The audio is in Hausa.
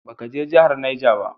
Ba ka je jahar Niger ba?